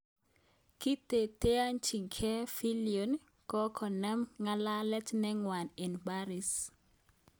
Kiteteanchigei Fillion kongonem ng'alalet ne ngwan eng Paris